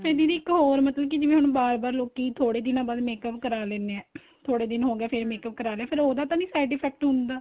ਤੇ ਦੀਦੀ ਇੱਕ ਹੋਰ ਮਤਲਬ ਕੀ ਜਿਵੇਂ ਹੁਣ ਬਾਰ ਬਾਰ ਲੋਕੀਂ ਥੋੜੇ ਦਿਨਾ ਬਾਅਦ makeup ਕਰਾ ਲੈਂਣੇ ਏ ਥੋੜੇ ਦਿਨ ਹੋਗੇ ਏ ਫ਼ੇਰ makeup ਕਰਾ ਲਿਆ ਫ਼ੇਰ ਉਹਦਾ ਤਾਂ ਨਹੀਂ side effect ਹੁੰਦਾ